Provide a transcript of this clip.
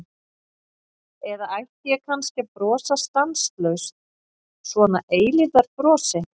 Eða ætti ég kannski að brosa stanslaust, svona eilífðarbrosi?